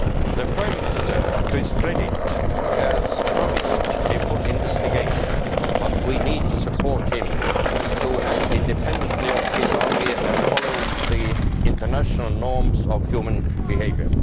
The Prime Minister, to his credit, has promised a full investigation, but we need to support him in acting independently of his army and following the international norms of human behaviour.